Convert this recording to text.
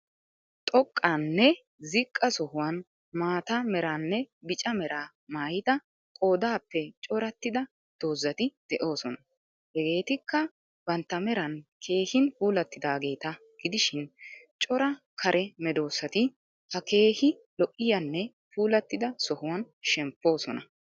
Xooqqanne ziqqa sohuwan maata meeranne bicca meera maayidda qoodappe cooratidda dozaati de^oosonna. hegetikka bantta meeran keehin puulattidageeta gidishin cora kare medoosati ha keehi lo^iyaanne pulattida sohuwan shempoosona.